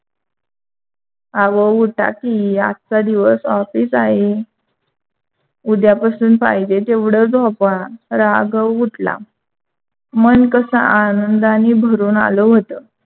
अहो उठा की! आजचा दिवस office आहे. उद्या पासून पाहिजे तेवढा झोपा. राघव उठला, मन कस आनंदाने भरून आल होत.